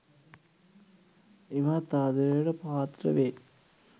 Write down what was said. ඉමහත් ආදරයට පාත්‍ර වේ.